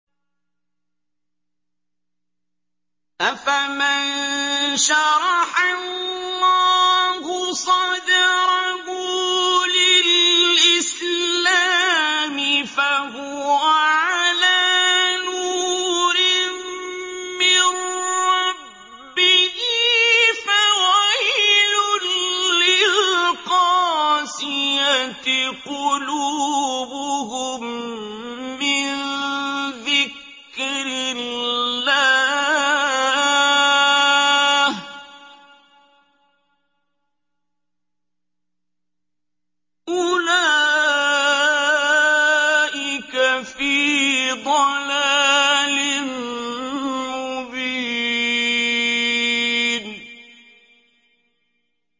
أَفَمَن شَرَحَ اللَّهُ صَدْرَهُ لِلْإِسْلَامِ فَهُوَ عَلَىٰ نُورٍ مِّن رَّبِّهِ ۚ فَوَيْلٌ لِّلْقَاسِيَةِ قُلُوبُهُم مِّن ذِكْرِ اللَّهِ ۚ أُولَٰئِكَ فِي ضَلَالٍ مُّبِينٍ